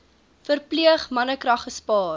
verpleeg mannekrag gespaar